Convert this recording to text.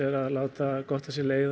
að láta gott af sér leiða